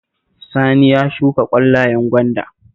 Sani yana shuka ƙwallayen gwanda